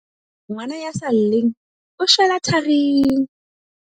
Ngwana ya sa lleng, o shwela tharing!